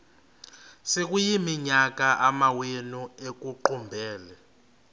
sekuyiminyaka amawenu ekuqumbele